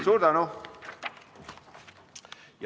Suur tänu!